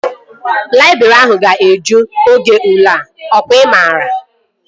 Laịbrị ahụ ga-eju oge ule a. Ọ kwa ị maara?